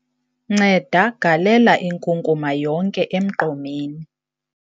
nceda galela inkunkuma yonke emgqomeni